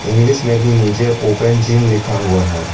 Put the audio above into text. English में भी नीचे ओपन जिम लिखा हुआ है।